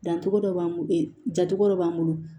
Dancogo dɔ b'an bolo jatogo dɔ b'an bolo